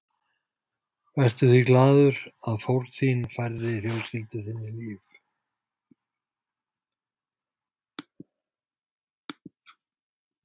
Vertu því glaður að fórn þín færði fjölskyldu þinni líf.